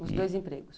Os dois empregos.